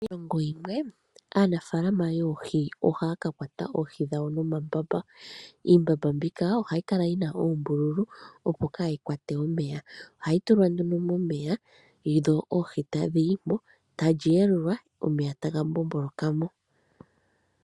Kiilongo yimwe aanafaalama yoohi ohaya ka kwata oohi dhawo no mambamba. Iimbamba mbika ohayi kala yina oombululu opo kaayi kwate omeya. Ohayi tulwa nduno momeya dho oohi tadhi yimo talyi yelulwa, omeya taga mbombolokamo.